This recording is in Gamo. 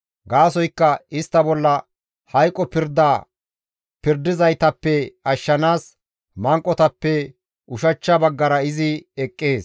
Gaasoykka istta bolla hayqo pirda pirdizaytappe ashshanaas manqotappe ushachcha baggara izi eqqees.